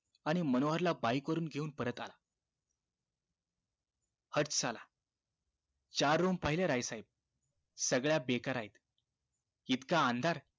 आणि मनोहर ला Bike वरून घेऊन परत आला हट साला चार Room पाहिजे रायसाहेब सगळ्या बेकार आहेत इतका अंधार.